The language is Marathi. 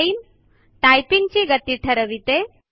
टाइम - टायपिंग ची गती ठरविते